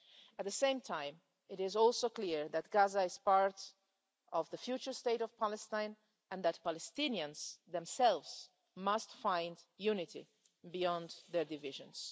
At the same time it is also clear that Gaza is part of the future state of Palestine and that Palestinians themselves must find unity beyond their divisions.